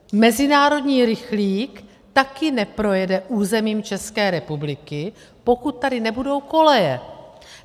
Mezinárodní rychlík taky neprojede územím České republiky, pokud tady nebudou koleje.